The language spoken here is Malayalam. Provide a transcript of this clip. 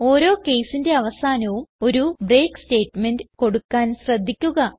ഓരോ caseന്റെ അവസാനവും ഒരു ബ്രേക്ക് സ്റ്റേറ്റ്മെന്റ് കൊടുക്കാൻ ശ്രദ്ധിക്കുക